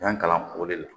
N y'a kalan o de la